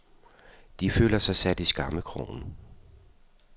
De føler sig sat i skammekrogen.